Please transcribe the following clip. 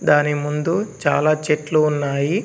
దాని ముందు చాలా చెట్లు ఉన్నాయి.